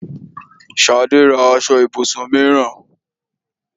Ṣadé ra aṣọ ibùsùn mìíràn.